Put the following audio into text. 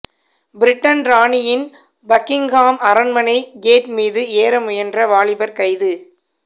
Britain ராணியின் Buckingham அரண்மனை gate மீது ஏற முயன்ற வாலிபர் கைது